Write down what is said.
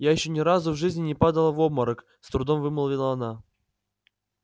я ещё ни разу в жизни не падала в обморок с трудом вымолвила она